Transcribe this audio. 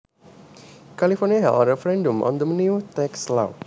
California held a referendum on the new tax law